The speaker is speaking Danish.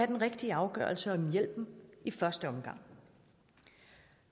den rigtige afgørelse om hjælpen i første omgang